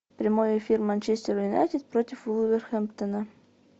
прямой эфир манчестер юнайтед против вулверхэмптона